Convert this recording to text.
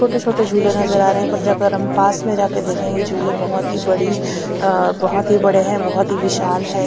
छोटे छोटे झूले नजर आ रहे हैं पर जाकर हम पास में जाके देखेंगे झूले बहोत ही बड़ी अ बहोत ही बड़े हैं बहोत ही विशाल हैं।